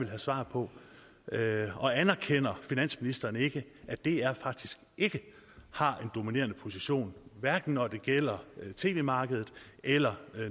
have svar på og anerkender finansministeren ikke at dr faktisk ikke har en dominerende position hverken når det gælder tv markedet eller